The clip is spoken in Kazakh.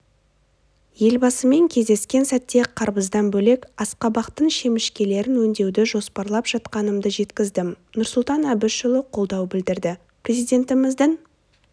елбасымен кездескен сәтте қарбыздан бөлек асқабақтың шемішкелерін өңдеуді жоспарлап жатқанымды жеткіздім нұрсұлтан әбішұлы қолдау білдірді президентіміздің